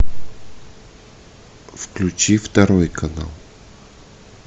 включи второй канал